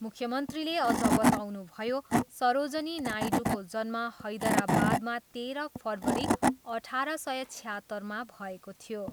मुख्यमन्त्रीले अझ बताउनुभयो, सरोजनी नायडूको जन्म हैदराबादमा तेह्र फरवरी अठार सय छयात्तरमा भएको थियो।